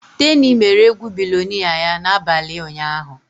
Teni mere egwu billionnaire ya n'abalị ụnyaahụ.